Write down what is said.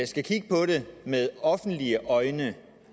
skal kigge på det med offentlige øjne